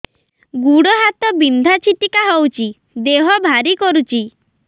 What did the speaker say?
ଗୁଡ଼ ହାତ ବିନ୍ଧା ଛିଟିକା ହଉଚି ଦେହ ଭାରି କରୁଚି